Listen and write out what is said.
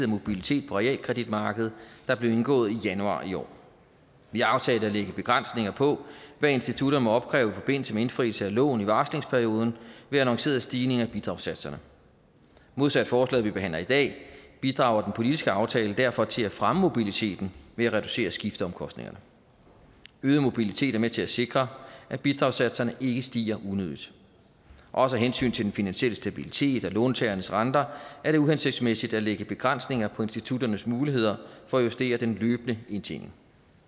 mobilitet på realkreditmarkedet der blev indgået i januar i år vi aftalte at lægge begrænsninger på hvad institutter må opkræve i forbindelse med indfrielse af lån i varslingsperioden ved annoncerede stigninger af bidragssatserne modsat forslaget vi behandler i dag bidrager den politiske aftale derfor til at fremme mobiliteten ved at reducere skifteomkostningerne øget mobilitet er med til at sikre at bidragssatserne ikke stiger unødigt også af hensyn til den finansielle stabilitet af låntagernes renter er det uhensigtsmæssigt at lægge begrænsninger på institutternes muligheder for at justere den løbende indtjening